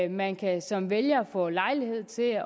og man kan som vælger få lejlighed til